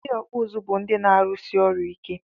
Ndị ọkpụ ụzụ bụ ndị na-arụsi ọrụ ike